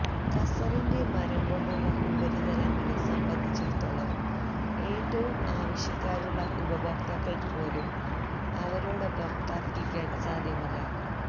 കസറിന്റെ മരം കൊണ്ടുള്ള ഉപരിതലങ്ങളെ സംബന്ധിച്ചിടത്തോളം ഏറ്റവും ആവശ്യക്കാരുള്ള ഉപഭോക്താക്കൾക്കുപോലും അവരോടൊപ്പം തർക്കിക്കാൻ സാധ്യമല്ല